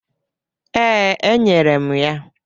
Ee, e nyere m ya.